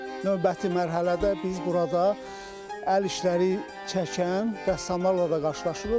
Növbəti mərhələdə biz burada əl işləri çəkən rəssamlarla da qarşılaşırıq.